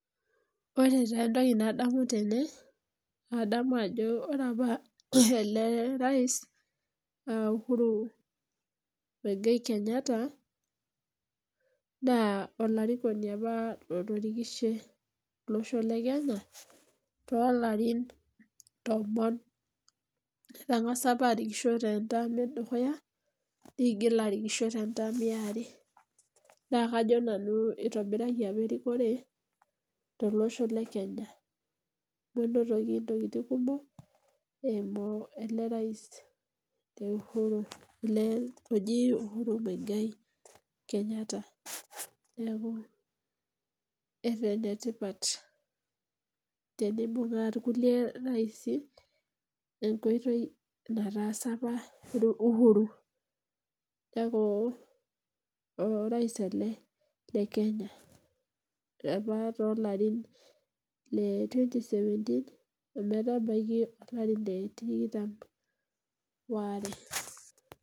Ore taa entoki nadamu tene naa kadamu Ajo ore apa ele rais]moi Gai Kenyatta na olarikino apa otorikishe to losho le Kenya too larin tomon etang'asa apa arikisho tee ntam edukuya nitoki arikisho tee ntam are naa kajo nanu eitobirae apa erikore tele Osho le Kenya nenotoki ntokitin kumok eyimu ele rais looji uhuru moigai Kenyatta neeku enetipat tenibung'a irkulie raising enkoitoi naatasa apa uhuru aa orais ele llee Kenya apa too loorin 2017 ometabaiki olarin lee tikitam oare